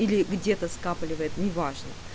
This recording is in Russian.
или где-то скапливает неважно